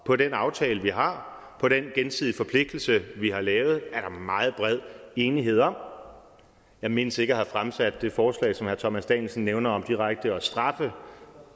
på den aftale vi har på den gensidig forpligtelse vi har lavet er der meget bred enighed om jeg mindes ikke at have fremsat det forslag som herre thomas danielsen nævner om direkte at straffe